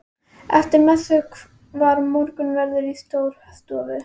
Eftir messu var morgunverður í Stórustofu.